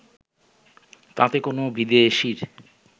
তাতে কোনো বিদেশির